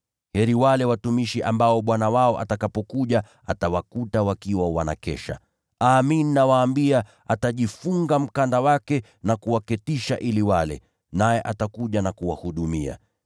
Heri wale watumishi ambao bwana wao atakapokuja atawakuta wakiwa wanakesha. Amin, nawaambia, atajifunga mkanda wake na kuwaketisha ili wale, naye atakuja na kuwahudumia.